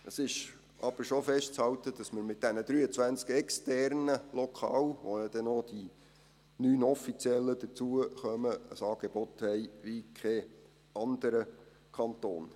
Es ist aber schon festzuhalten, dass wir mit diesen 23 externen Lokalen, zu denen ja noch die 9 offiziellen hinzukommen, ein Angebot haben wie kein anderer Kanton.